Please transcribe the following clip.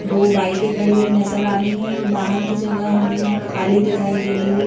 दो बाइकें खड़ी हुई नज़र आ रही हैं और बाहर की जगह हमें खाली दिखाई दे रही है।